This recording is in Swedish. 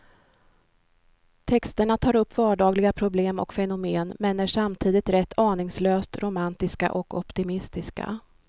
Texterna tar upp vardagliga problem och fenomen, men är samtidigt rätt aningslöst romantiska och optimistiska.